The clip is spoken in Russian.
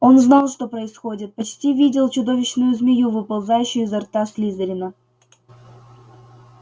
он знал что происходит почти видел чудовищную змею выползающую изо рта слизерина